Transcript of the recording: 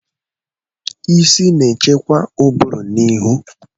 Isi na-echekwa ụbụrụ na ihu.